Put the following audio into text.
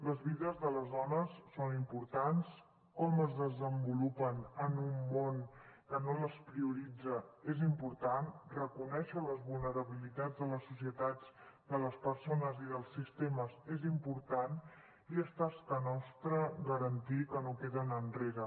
les vides de les dones són importants com es desenvolupen en un món que no les prioritza és important reconèixer les vulnerabilitats de les societats de les persones i dels sistemes és important i és tasca nostra garantir que no queden enrere